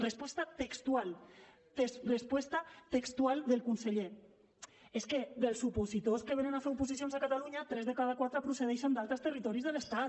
respuesta textual respuesta textual del conseller és que dels opositors que venen a fer oposicions a catalunya tres de cada quatre procedeixen d’altres territoris de l’estat